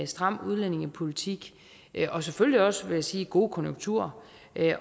stram udlændingepolitik og selvfølgelig også vil jeg sige gode konjunkturer